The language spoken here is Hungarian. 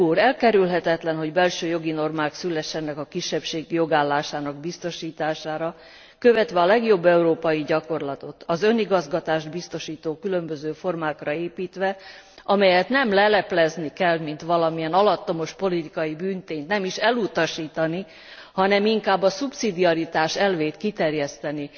Elkerülhetetlen, hogy belső jogi normák szülessenek a kisebbség jogállásának biztosítására, követve a legjobb európai gyakorlatot, az önigazgatást biztosító különböző formákra építve, amelyet nem leleplezni kell, mint valamilyen alattomos politikai bűntényt, nem is elutasítani, hanem inkább a szubszidiaritás elvét kiterjeszteni